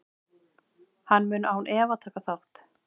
Hann mun án efa taka þátt.